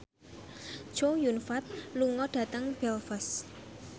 Chow Yun Fat lunga dhateng Belfast